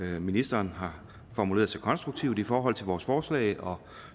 ministeren har formuleret sig konstruktivt i forhold til vores forslag og